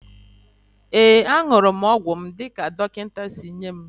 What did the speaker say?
Ee, aṅụrụ m ọgwụ m dị ka dọkịta si nye m